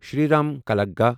Shriram کلاگا